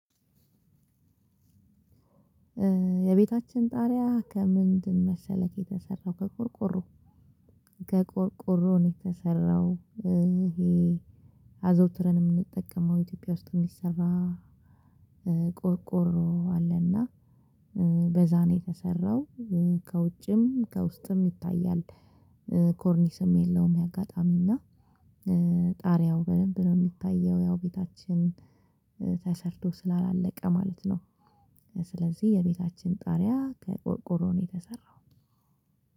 የቤታችን ጣሪያ ከምንድን መሰለክ የተሰራው ከቆርቆሮ ከቆርቆሮ ነው የተሰራው። ይሄ አዘውትረንም የምንጠቀመው ኢትዮጵያ ውስጥ የሚሰራ ቆርቆሮ አለና በዛ ነው የተሰራው። ከውጭም ከውስጥም ይታያል። ኮርኒስም የለውም። የአጋጣሚ እና ጣሪያው በደንብ ነው የሚታየው ያው ቤታችን ተሰርቶ ስላላለቀ ማለት ነው። ስለዚህ የቤታችን ጣሪያ ከቆርቆሮ ነው የተሰራው።